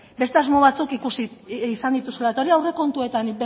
hori aurrekontuetan